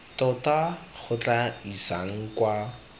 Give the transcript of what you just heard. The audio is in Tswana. tota go tla isang kwa